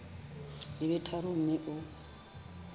di be tharo mme o